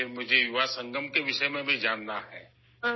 پھر میں یووا سنگم کے بارے میں بھی جاننا چاہتا ہوں